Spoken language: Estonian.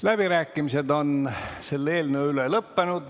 Läbirääkimised selle eelnõu üle on lõppenud.